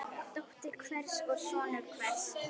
Dóttir hvers og sonur hvers.